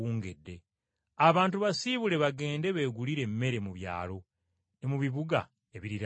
Abantu basiibule bagende beegulire emmere mu byalo ne mu bibuga ebiriraanye wano.”